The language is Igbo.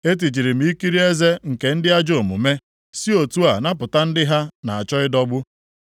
Etijiri m ikiri eze nke ndị ajọ omume, si otu a napụta ndị ha na-achọ ịdọgbu.